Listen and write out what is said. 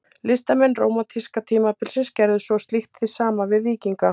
Listamenn rómantíska tímabilsins gerðu svo slíkt hið sama við víkinga.